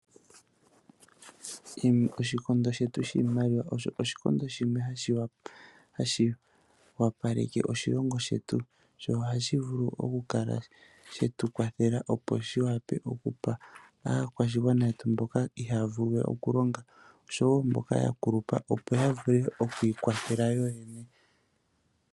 Oshikondo shetu shiimaliwa osho oshikondo shimwe hashi wapaleke oshilongo shetu sho ohashi vulu okukala shetu kwathela opo shi wape okupa aakwashigwana yetu mboka ihaya vulu we okulonga oshowo mboka ya kulupa opo ya vule oku ikwathela yo yene.